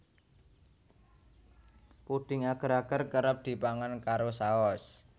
Pudhing ager ager kerep dipangan karo saos